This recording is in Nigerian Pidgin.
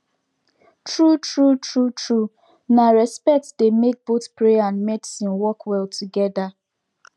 true true true true na respect dey make both prayer and medicine work well together